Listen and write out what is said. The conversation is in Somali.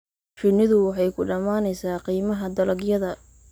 Shinnidu waxay ku dhamaanaysaa qiimaha dalagyada.